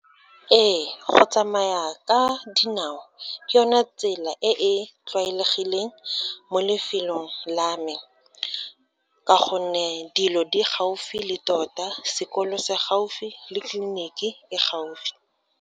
Ee, go tsamaya ka dinao ke yone tsela e e tlwaelegileng mo lefelong la me, ka gonne dilo di gaufi le tota, sekolo se gaufi le tleliniki e gaufi.